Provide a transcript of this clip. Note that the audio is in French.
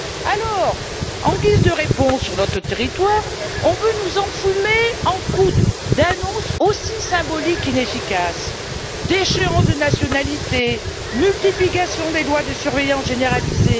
Alors, en guise de réponse sur notre territoire, on veut nous enfumer à coup d'annonces aussi symboliques qu'inefficaces déchéance de nationalité, multiplication des lois de surveillance généralisée.